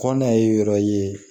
Kɔnɔ ye yɔrɔ ye